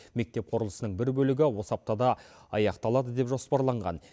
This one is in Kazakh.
мектеп құрылысының бір бөлігі осы аптада аяқталады деп жоспарланған